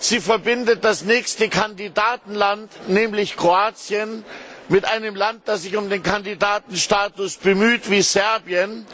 Sie verbindet das nächste Kandidatenland, nämlich Kroatien, mit einem Land, das sich um den Kandidatenstatus bemüht Serbien.